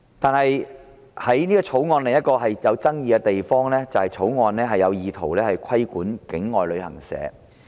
但是，《條例草案》另一個具爭議的地方，就是它意圖規管境外旅行社。